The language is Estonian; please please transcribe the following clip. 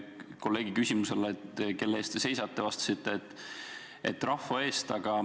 Kolleegi küsimusele, kelle eest te seisate, te vastasite, et rahva eest.